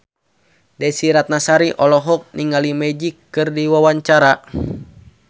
Desy Ratnasari olohok ningali Magic keur diwawancara